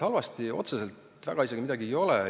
Ma arvan, et otseselt halvasti midagi väga ei olegi.